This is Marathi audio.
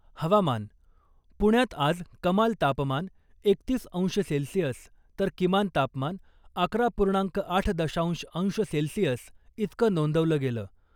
हवामान पुण्यात आज कमाल तापमान एकतीस अंश सेल्सिअस तर किमान तापमान अकरा पूर्णांक आठ दशांश अंश सेल्सिअस इतकं नोंदवलं गेलं .